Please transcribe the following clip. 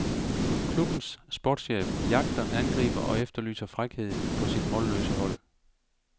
Klubbens sportschef jagter angriber og efterlyser frækhed på sit målløse hold.